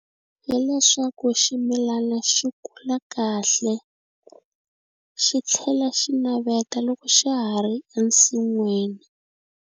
Hi leswaku ximilana swi kula kahle swi tlhela swi naveta loko swa ha ri ensin'wini.